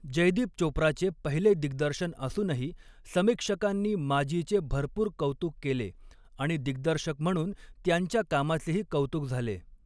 जयदीप चोप्राचे पहिले दिग्दर्शन असूनही, समीक्षकांनी माज़ीचे भरपूर कौतुक केले आणि दिग्दर्शक म्हणून त्यांच्या कामाचेही कौतुक झाले.